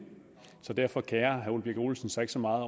så derfor kerer herre ole birk olesen sig ikke så meget